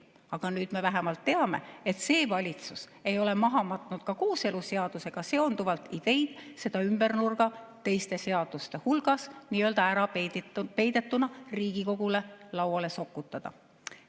Aga nüüd me vähemalt teame, et see valitsus ei ole maha matnud ka kooseluseadusega seonduvaid ideid ümbernurga, teiste seaduste hulka ära peidetuna Riigikogu lauale sokutada.